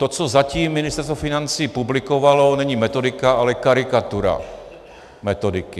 To, co zatím Ministerstvo financí publikovalo, není metodika, ale karikatura metodiky.